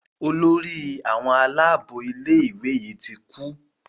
Olórí àwọn Àlàabò ilé ìwé yí tí kú.